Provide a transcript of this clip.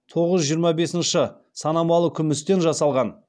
тоғыз жүз жиырма бесіншы сынамалы күмістен жасалған